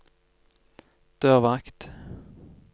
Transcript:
dørvakt